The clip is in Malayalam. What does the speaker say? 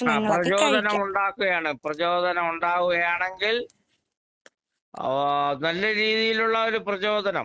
ആഹ് പ്രചോദനമുണ്ടാക്കുകയാണ് പ്രചോദനമുണ്ടാവുകയാണെങ്കിൽ ആഹ് നല്ല രീതീലുള്ള ഒരു പ്രചോദനം.